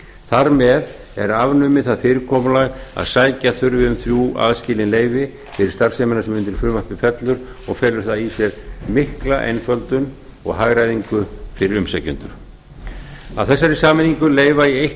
þar með er afnumið það fyrirkomulag að sækja þurfi um þrjú aðskilin leyfi til starfseminnar sem undir frumvarpi fellur og felur það í sér mikla einföldun og hagræðingu fyrir umsækjendur af þessari sameiningu leyfa í eitt